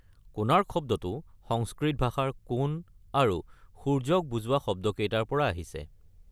‘কোণাৰ্ক’ শব্দটো সংস্কৃত ভাষাত কোণ আৰু সূৰ্য্যক বুজোৱা শব্দকেইটাৰ পৰা আহিছে।